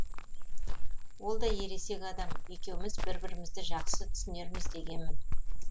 ол да ересек адам екеуміз бір бірімізді жақсы түсінерміз дегенмін